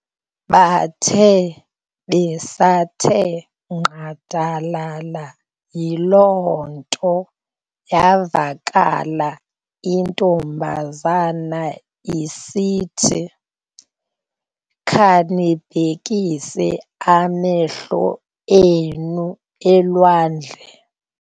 Bathe besathe nqadalala yiloo nto yavakala intombazana isithi, "Khanibhekise amehlo enu elwandle "-